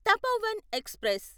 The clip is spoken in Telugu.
తపోవన్ ఎక్స్ప్రెస్